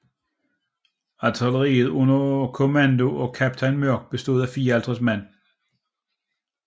Artilleriet under kommandoer af kaptajn Mörck bestod af 54 man